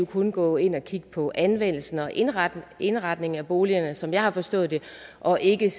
kun gå ind og kigge på anvendelsen og indretningen indretningen af boligerne som jeg har forstået det og ikke